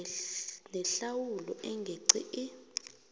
nehlawulo engeqi i